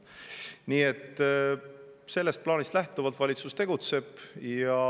Nii et sellest plaanist lähtuvalt valitsus tegutseb.